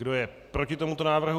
Kdo je proti tomuto návrhu?